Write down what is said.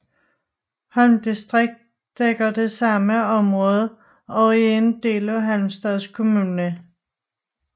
Holm distrikt dækker det samme område og er en del af Halmstads kommun